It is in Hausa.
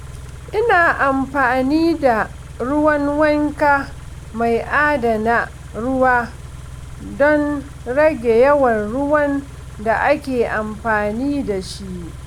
Ina amfani da ruwan wanka mai adana ruwa don rage yawan ruwan da ake amfani da shi.